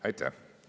Aitäh!